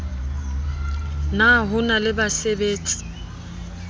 na ho na le basabetsi